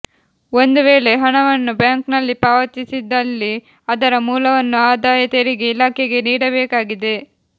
ಒಂದು ವೇಳೆ ಹಣವನ್ನು ಬ್ಯಾಂಕ್ನಲ್ಲಿ ಪಾವತಿಸಿದಲ್ಲಿ ಅದರ ಮೂಲವನ್ನು ಆದಾಯತೆರಿಗೆ ಇಲಾಖೆಗೆ ನೀಡಬೇಕಾಗಿದೆ